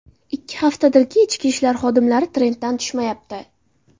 Ikki haftadirki, Ichki ishlar xodimlari trenddan tushmayapti.